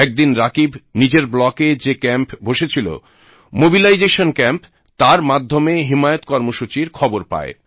একদিন রাকীব নিজের ব্লকে যে ক্যাম্প বসেছিল মোবিলাইজেশন ক্যাম্প তার মাধ্যমে হিমায়ত কর্মসূচীর খবর পায়